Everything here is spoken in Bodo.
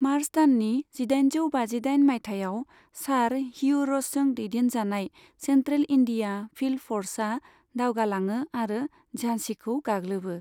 मार्च दाननि जिदाइनजौ बाजिदाइन मायथाइयाव, सार हियु र'सजों दैदेन जानाय सेन्ट्रेल इन्डिया फिल्ड फ'र्सआ दावगा लाङो आरो झासिखौ गाग्लोबो।